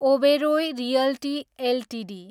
Oberoi realty Ltd